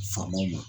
Faamaw ma